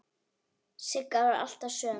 Sigga var alltaf söm.